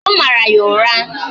Ọ mara ya ụra